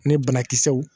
Ani banakisɛw